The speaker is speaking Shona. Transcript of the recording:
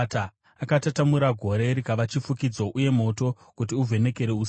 Akatatamura gore rikava chifukidzo, uye moto kuti uvhenekere usiku.